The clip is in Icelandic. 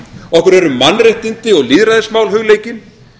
okkur eru mannréttindi og lýðræðismál hugleikin